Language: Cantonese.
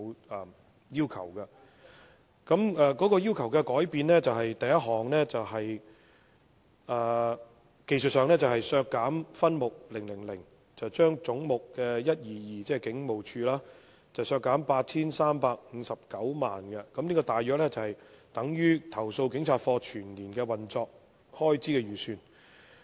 我要求的第一項改變，在技術上而言，是為削減分目000而將總目 122， 即香港警務處，削減 8,359 萬元，大約相當於投訴警察課全年的運作開支預算。